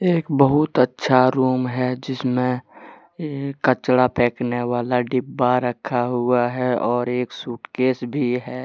एक बहुत अच्छा रूम है जिसमें कचरा फेंकने वाला डिब्बा रखा हुआ है और एक सूटकेस भी है।